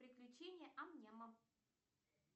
приключения ам няма